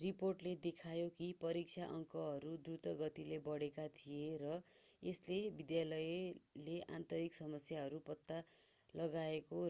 रिपोर्टले देखायो कि परीक्षा अङ्कहरू द्रुत गतिले बढेका थिए र यसले विद्यालयले आन्तरिक समस्याहरू पत्ता लगाएको